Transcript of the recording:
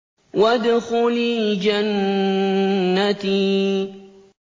وَادْخُلِي جَنَّتِي